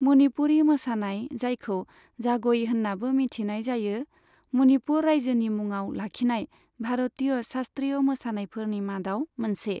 मनिपुरि मोसानाय, जायखौ जाग'ई होननाबो मिथिनाय जायो, मनिपुर रायजोनि मुङाव लाखिनाय भारतीय शास्त्रीय मोसानायफोरनि मादाव मोनसे।